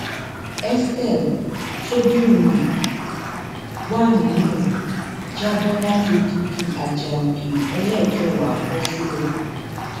estelle tóbìnrin yìí wà nínú ẹ já bọ láti láti odidi ajá òkè ẹlẹẹkẹwàá bọ sílẹ